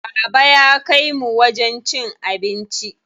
Baba ya kaimu wajen cin abinci.